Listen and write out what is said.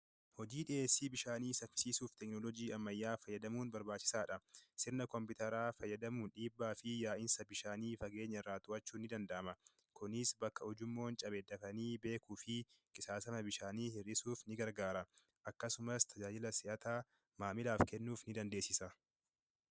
Hojii dhiyeessii bishaanii saffisiisuuf teekinooloojii ammayyaa fayyadamuun barbaachisaadha. Sirna kompiitaraa fayyadamuun dhiibbaa yaa'insa bishaanii fageenya irraa yaa'u to'achuun ni danda'ama. Kunis bakka ujummoon cabe beekuu fi qisaasama bishaanii hir'isuuf ni gargaara. Akkasumas tajaajila si'ataa maamilaaf kennuuf ni dandeessisa.